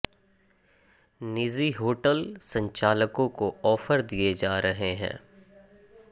निजी होटल संचालकों को आॅफर दिए जा रहे हैं